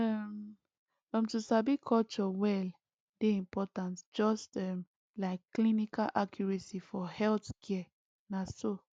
um um to sabi culture well dey important just um like clinical accuracy for healthcare na so